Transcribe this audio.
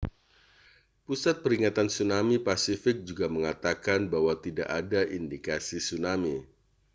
pusat peringatan tsunami pasifik juga mengatakan bahwa tidak ada indikasi tsunami